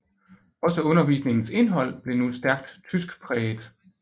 Også undervisningens indhold blev nu stærkt tyskpræget